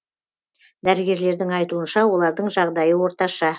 дәрігерлердің айтуынша олардың жағдайы орташа